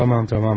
Tamam, tamam.